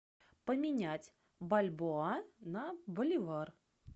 поменять бальбоа на боливар